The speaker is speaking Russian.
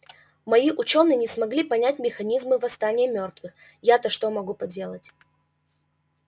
мои учёные не смогли понять механизмы восстания мёртвых ято что могу поделать